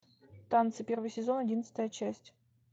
танцы первый сезон одиннадцатая часть